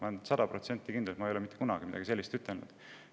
Ma olen sada protsenti kindel, et ma ei ole kunagi mitte midagi sellist öelnud.